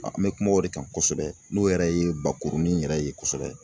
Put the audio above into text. An bɛ kuma o de kan kosɛbɛ n'o yɛrɛ ye bakurunin yɛrɛ ye kosɛbɛ.